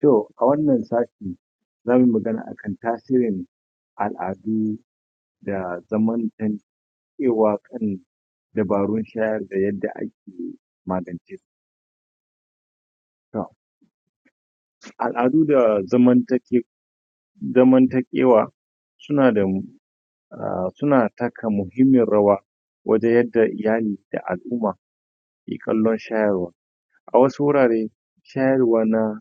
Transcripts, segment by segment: to a wannan satin zamuyi magana akan tasirin al'adu da zaman dabarun shayarwa da yadda ake magance su naam al'adu da zamantakewa zamantakewa suna da suna taka muhimmiyar rawa wajen yadda iyali da al'umma ke kallon shayarwan a wasu wurare shayarwa na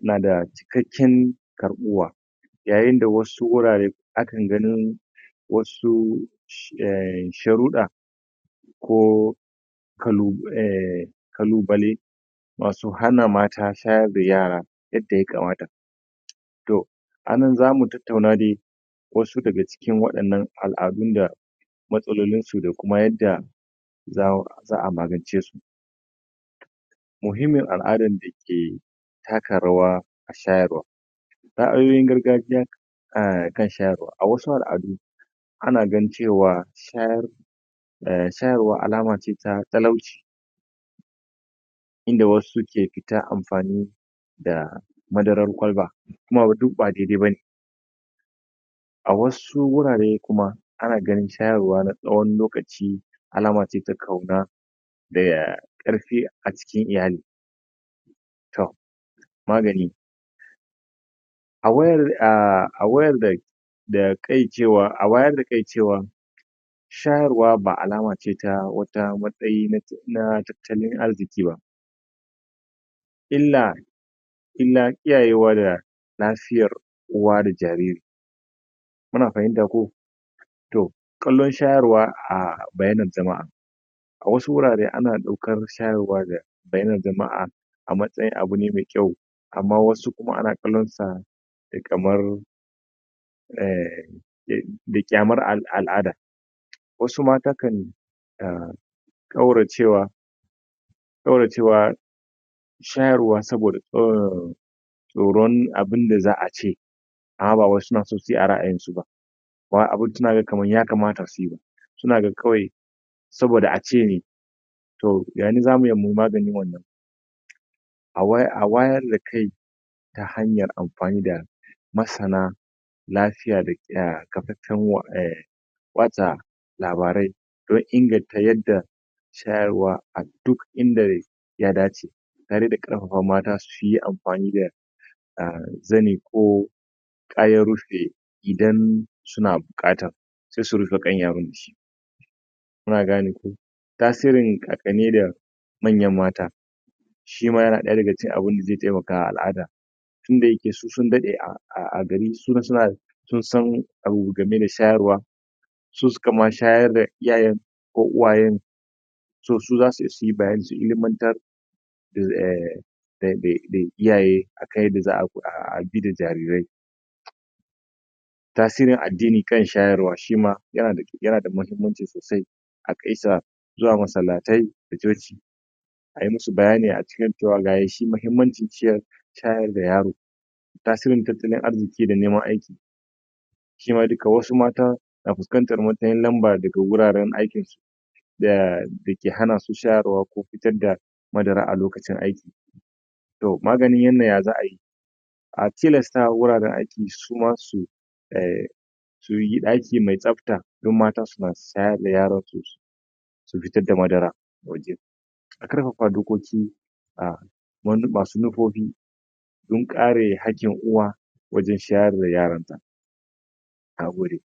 na da cikakakiyar karbuwa yayin da wasu wurare akan ganin wasu sharuda ko kalubale masu hana mata shayar da yara yanda ya kamata to anan zamu tattauna de wasu daga cikin al'adun nan matsalolinsu da kuma yadda za'a magance su muhimmin al'adar da ke taka rawa a shayarwa akwai gargajiya kan shayarwa a wasu al'adu ana ganin cewa shayarwa shayarwa alama ne ta talauci inda wasu ke fita amfani da madarar kwalba kuma wannan duk ba dai dai bane a wasu gurare kuma ana ganin shayarwa na tsawon lokaci alama ce ta kauna da karfi acikin iyali to magani awayar a awayar dea a wayar da kai cewa shayarwa ba alama ce ta wata matsayi na tattalin arziki ba illa illa kiyaye wa na lafiyar uwa da jariri kuna fahimta ko to kallon shayarwa a bainar jama'a a wasu gurare ana kallon shayarwa da bainar jama'a a matsayin abu ne mai kyau amma wasu kuma ana kallon su kamar ehm kyamar al'ada wasu ma takan uhm kaura cewa kaura cewa shayarwa saboda tsoron abunda za'a ce amma suna so ba wai a ra'ayin su ba amma kuma suna ganin ya kamata suyi suna jin kawai saboda ace yane zamu iya muyi maganin wannan a wayar da kai ta hanyar amfani da masana lafiya kafafen watsa labarai don inganta yanda shayar wa a duk inda ya dace tare da karfafawa mata suyi amfani da zani ko kayan rufe idon suna bukata sai su rufe kan yaro dashi kuna kane ko tasirin kan kani da manyan mata shima yana daga cikin abun da zai temakawa al'ada tunda yake su sun dade a gari sun san abu game da shayarwa su suka ma shayar da iyayen toh su zasuyi bayani su ilimantar um da iyaye yadda za'a bi da jarirai tasirin addini kan shayarwa yana da muhimmanci sosai akaisa zuwa massalatai da coci ayi musu bayani acikin cewa gashi muhimmancin shayarda yaro tasirin tattalin arzikin da neman aiki cewa wasu mata na fuskantar matsin lamba da ga wararen aikin su dake hana su shayarwa ko fitar da madara a lokacin aiki maganin wannan ya za'ayi a tilastawa wuraren aiki suma su eh suyi daki mai tsafta dan mata su na shayar da yaron su su fitar da madara waje a karfafa dokoki a basu manufofi don kare haqin uwa wajen shayar da yaron ta nagode;